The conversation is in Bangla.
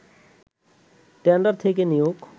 টেন্ডার থেকে নিয়োগ